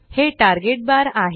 हे target bar आहे